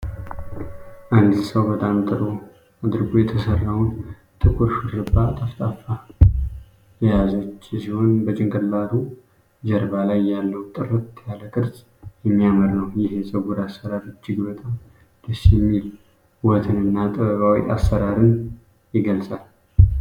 አንዲት ሰው በጣም ጥሩ አድርጎ የተሰራውን ጥቁር ሹሩባ (ጠፍጣፋ) የያዘች ሲሆን፣ በጭንቅላቱ ጀርባ ላይ ያለው ጥርት ያለ ቅርጽ የሚያምር ነው። ይህ የፀጉር አሠራር እጅግ በጣም ደስ የሚል ውበትንና ጥበባዊ አሠራርን ይገልጻል።